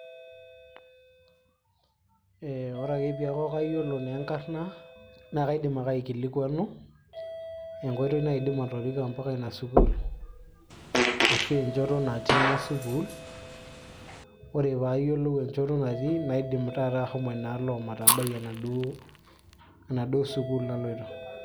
ee ore ake piaku kayiolo naa enkarna naa kaidim ake aikilikuanu enkoitoi naidim atoriko mpaka ina sukuul ashu enchoto natii ina sukuul ore paayiolou enchoto natii naidim taata ahomo inaalo omatabai enaduo sukuul naloito.